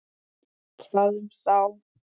Hvað varð um þá?